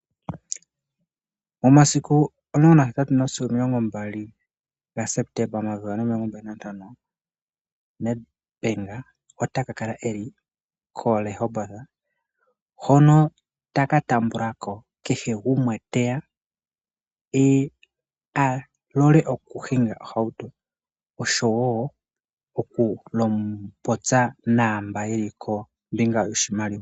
Momasiku omulongo nahetatu sigo omilongo mbali gaSeptemba 2025 Nedbank otaka kala koRehoboth noho taka taambako kehe gumwe teya alole okuhinga nohauto oshowo okupopya naamba yeli kombinga yoshimaliwa.